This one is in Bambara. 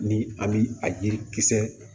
Ni an bi a yirikisɛ